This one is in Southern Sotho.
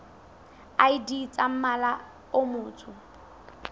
id tsa mmala o motsho